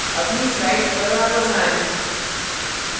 अपनी slides पर वापस आएँ